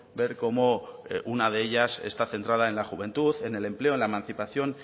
ver cómo una de ellas está centrada en la juventud en el empleo en la emancipación